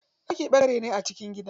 Ɗaki ɓangare ne a cikin gida.